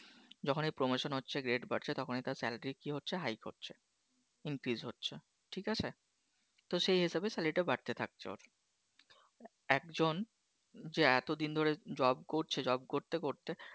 যখনই Promotion হচ্ছে Grade বাড়ছে তখনই তার Salary কি হচ্ছে Hike হচ্ছে, Increase হচ্ছে ঠিক আছে তো সেই হিসেবে Salary টা বাড়তে থাকছে ওর। একজন যে এতদিন ধরে Job করছে Job করতে করতে